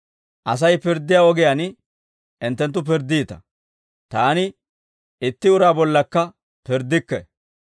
Asay pirddiyaa ogiyaan hinttenttu pirddiita; Taani itti uraa bollaakka pirddikke.